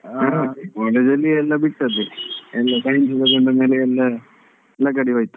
College ಅಲ್ಲಿ ಎಲ್ಲ ಬಿಟ್ಟದೆ ಎಲ್ಲಾ science ತೆಕೊಂಡ್ ಮೇಲೆ ಎಲ್ಲಾ ಲಗಾಡಿ ಹೊಯ್ತು.